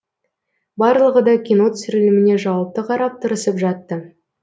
барлығы да кино түсіріліміне жауапты қарап тырысып жатты